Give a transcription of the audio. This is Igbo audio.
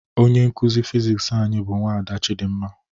Onye nkụzi Fiziks anyị bụ nwada Chidimma